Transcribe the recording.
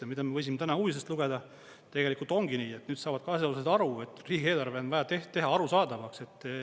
Ja mida me võisime uudistest lugeda, tegelikult ongi nii, et nüüd saavad ka asjaosalised aru, et riigieelarve on vaja teha arusaadavaks.